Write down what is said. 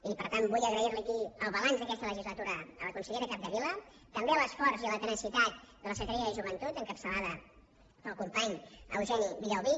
i per tant vull agrair li aquí el balanç d’aquesta legislatura a la consellera capdevila també l’esforç i la tenacitat de la secretaria de joventut encapçalada pel company eugeni villalbí